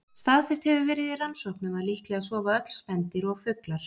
Staðfest hefur verið í rannsóknum að líklega sofa öll spendýr og fuglar.